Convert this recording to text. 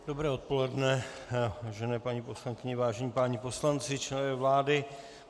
Dobré odpoledne, vážené paní poslankyně, vážení páni poslanci, členové vlády.